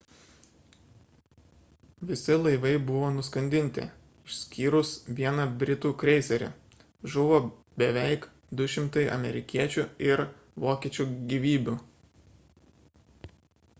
visi laivai buvo nuskandinti išskyrus vieną britų kreiserį žuvo beveik 200 amerikiečių ir vokiečių gyvybių